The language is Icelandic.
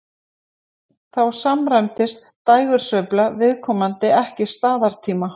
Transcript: Þá samræmist dægursveifla viðkomandi ekki staðartíma.